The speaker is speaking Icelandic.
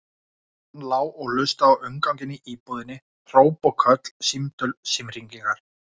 Hann lá og hlustaði á umganginn í íbúðinni, hróp og köll, símtöl, símhringingar.